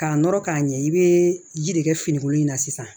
K'a nɔrɔ k'a ɲɛ i bɛ ji de kɛ finikolo in na sisan